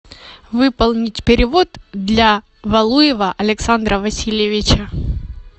выполнить перевод для валуева александра васильевича